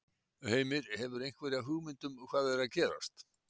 Heimir: Hefurðu einhverja hugmynd um hvað er að gerast?